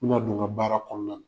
N mi na don n ka baara kɔnɔna na.